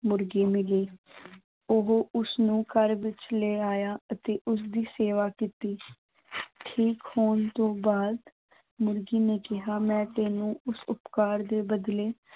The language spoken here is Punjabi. ਮੁਰਗੀ ਮਿਲੀ ਉਹ ਉਸਨੂੰ ਘਰ ਵਿੱਚ ਲੈ ਆਇਆ ਅਤੇ ਉਸਦੀ ਸੇਵਾ ਕੀਤੀ ਠੀਕ ਹੋਣ ਤੋਂ ਬਾਅਦ ਮੁਰਗੀ ਨੇ ਕਿਹਾ ਮੈਂ ਤੈਨੂੰ ਉਸ ਉਪਕਾਰ ਦੇ ਬਦਲੇ